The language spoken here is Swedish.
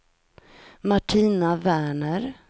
Martina Werner